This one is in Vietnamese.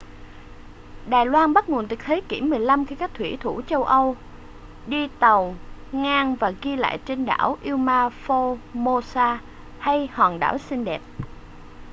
đài loan bắt nguồn từ thế kỷ 15 khi các thủy thủ châu âu đi tàu ngang và ghi lại tên đảo là ilha formosa hay hòn đảo xinh đẹp